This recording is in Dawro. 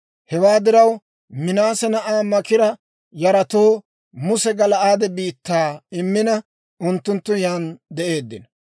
Hewaa diraw, Minaase na'aa Maakira yaratoo Muse Gala'aade biittaa immina, unttunttu yan de'eeddino.